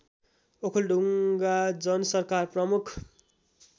ओखलढुङ्गा जनसरकार प्रमुख